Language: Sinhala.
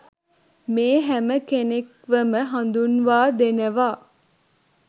මේ හැම කෙනෙක්වම හදුන්වා දෙනවා.